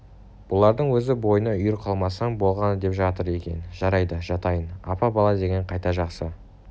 бұларды өзің бойыңа үйір қылмасаң болғаны деп жатыр екен жарайды жатайын апа бала деген қайта жақсы